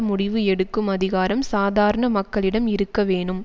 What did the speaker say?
முடிவு எடுக்கும் அதிகாரம் சாதாரண மக்களிடம் இருக்க வேணும்